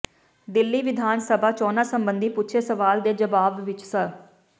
ਦਿੱਲੀ ਵਿਧਾਨ ਸਭਾ ਚੋਣਾਂ ਸਬੰਧੀ ਪੁੱਛੇ ਸਵਾਲ ਦੇ ਜਵਾਬ ਵਿੱਚ ਸ